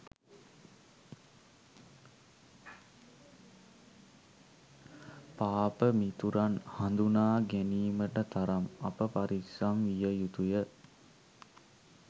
පාප මිතුරන් හඳුනා ගැනීමට තරම් අප පරිස්සම් විය යුතුය.